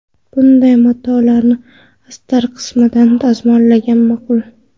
Bunday matolarni astar qismidan dazmollagan ma’qul.